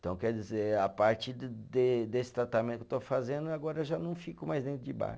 Então, quer dizer, a partir de de desse tratamento que estou fazendo, agora já não fico mais dentro de bar.